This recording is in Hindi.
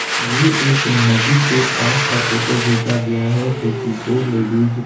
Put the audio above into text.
ये एक नदी के पास का फोटो घिचा गया है जो कि दो लेडिस --